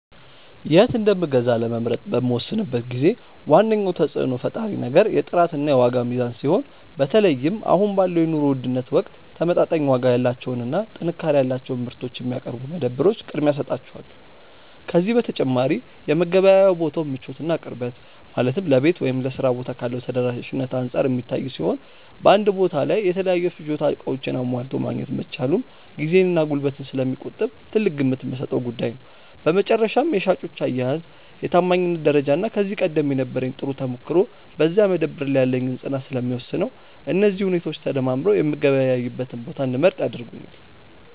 የት እንደምገዛ ለመምረጥ በምወስንበት ጊዜ ዋነኛው ተጽዕኖ ፈጣሪ ነገር የጥራትና የዋጋ ሚዛን ሲሆን፣ በተለይም አሁን ባለው የኑሮ ውድነት ወቅት ተመጣጣኝ ዋጋ ያላቸውንና ጥንካሬ ያላቸውን ምርቶች የሚያቀርቡ መደብሮች ቅድሚያ እሰጣቸዋለሁ። ከዚህ በተጨማሪ የመገበያያ ቦታው ምቾትና ቅርበት፣ ማለትም ለቤት ወይም ለሥራ ቦታ ካለው ተደራሽነት አንጻር የሚታይ ሲሆን፣ በአንድ ቦታ ላይ የተለያዩ የፍጆታ ዕቃዎችን አሟልቶ ማግኘት መቻሉም ጊዜንና ጉልበትን ስለሚቆጥብ ትልቅ ግምት የምሰጠው ጉዳይ ነው። በመጨረሻም የሻጮች አያያዝ፣ የታማኝነት ደረጃና ከዚህ ቀደም የነበረኝ ጥሩ ተሞክሮ በዚያ መደብር ላይ ያለኝን ፅናት ስለሚወስነው፣ እነዚህ ሁኔታዎች ተደማምረው የምገበያይበትን ቦታ እንድመርጥ ያደርጉኛል።